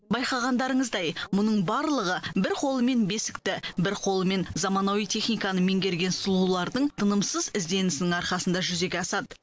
байқағандарыңыздай мұның барлығы бір қолымен бесікті бір қолымен заманауи техниканы меңгерген сұлулардың тынымсыз ізденісінің арқасында жүзеге асады